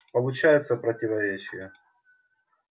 получается противоречие